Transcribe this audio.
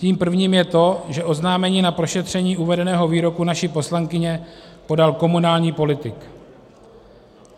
Tím prvním je to, že oznámení na prošetření uvedeného výroku naší poslankyně podal komunální politik.